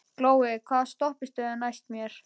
Glói, hvaða stoppistöð er næst mér?